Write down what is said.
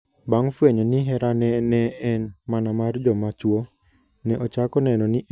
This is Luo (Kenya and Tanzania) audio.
Bang' fwenyo ni herane ne en mana mar joma chwo, ne ochako neno ni en dhako ma ok dichwo.